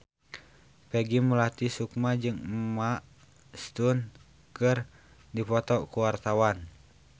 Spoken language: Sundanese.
Peggy Melati Sukma jeung Emma Stone keur dipoto ku wartawan